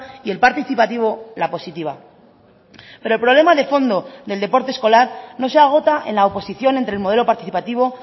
y el participativo la positiva pero el problema de fondo del deporte escolar no se agota en la oposición entre el modelo participativo